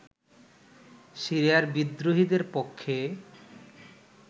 সিরিয়ার বিদ্রোহীদের পক্ষে